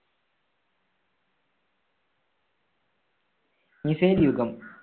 missile യുഗം.